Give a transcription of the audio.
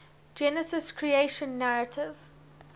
genesis creation narrative